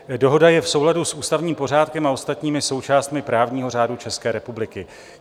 Dohoda je v souladu s ústavním pořádkem a ostatními součástmi právního řádu České republiky.